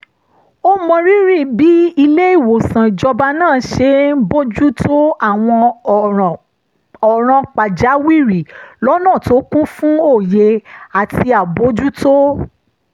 ó mọrírì bí ilé-ìwòsàn ìjọba náà ṣe ń bójú tó àwọn ọ̀ràn pàjáwìrì lọ́nà tó kún fún òye àti àbójútó